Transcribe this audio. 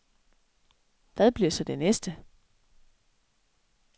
Hvad bliver så det næste.